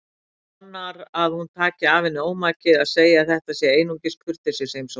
Vonar að hún taki af henni ómakið að segja að þetta sé einungis kurteisisheimsókn.